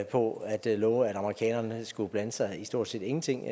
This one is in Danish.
på at love at amerikanerne skulle blande sig i stort set ingenting